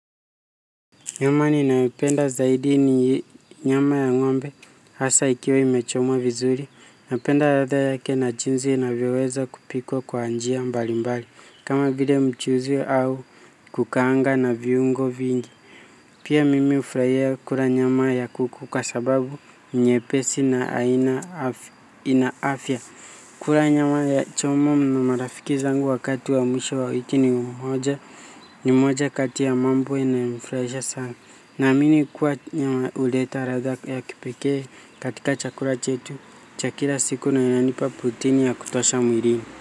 Nyama ninayoipenda zaidi ni nyama ya ng'ombe hasa ikiwa imechomwa vizuri. Napenda ratha yake na jinzi inavyoweza kupikwa kwa njia mbali mbali. Kama gide mchuzi au kukaanga na viungo vingi. Pia mimi ufarahia kura nyama ya kuku kwa sababu nyepesi na inaafia. Kura nyama ya chomwa na marafiki zangu wakatu wa mwisho wa wiki ni mmoja. Ni mmoja kati ya mambo inayonifuraisha sana. Naamini kuwa nyama uleta ratha ya kipekee katika chakura chetu chakira siku na yananipa putini ya kutasha mwirini.